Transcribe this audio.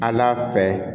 Ala fɛ